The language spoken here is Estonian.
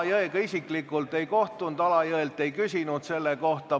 Alajõega ma isiklikult ei kohtunud ega küsinud temalt selle kohta.